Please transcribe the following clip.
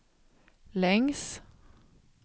längs